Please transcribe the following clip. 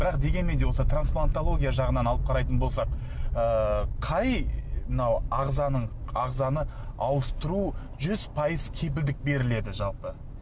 бірақ дегенмен де осы транплантология жағынан алып қарайтын болсақ ыыы қай мынау ағзаның ағзаны ауыстыру жүз пайыз кепілдік беріледі жалпы